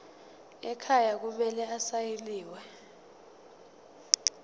ekhaya kumele asayiniwe